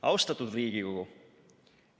Austatud Riigikogu!